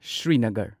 Srinagar